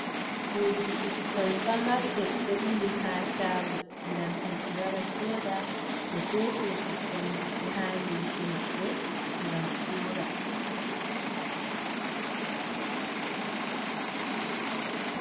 Urdi ɓikkon pamarbe, dobili ha chago gam himbe wara soda be fesina ɓikkon maɓɓe ha limce maɓbe, gam ura.